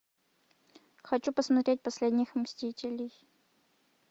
хочу посмотреть последних мстителей